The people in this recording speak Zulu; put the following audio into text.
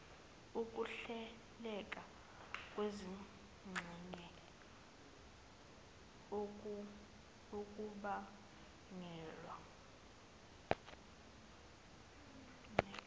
ukuhleleka kwezingxenye okubangelwa